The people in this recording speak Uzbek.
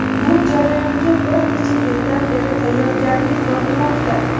Bu jarayonga bir necha yildan beri tayyorgarlik ko‘rilmoqda.